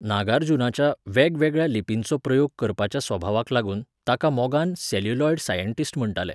नागार्जुनाच्या, वेगवेगळ्या लिपींचो प्रयोग करपाच्या सभावाक लागून, ताका मोगान सॅल्युलॉयड सायण्टिस्ट म्हण्टाले.